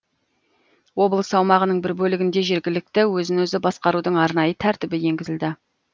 облыс аумағының бір бөлігінде жергілікті өзін өзі басқарудың арнайы тәртібі енгізілді